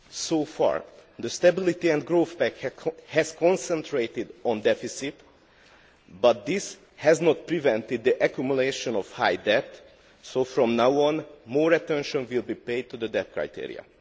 So far the Stability and Growth Pact has concentrated on deficit but this has not prevented the accumulation of high debt, so from now on more attention will be paid to the debt criteria.